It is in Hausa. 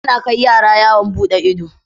Ana Kai yara yawon buɗe ido